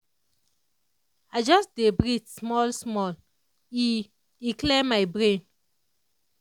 i just dey breathe small-small e e clear my brain.